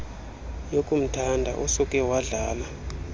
yokumthanda usuke wadlala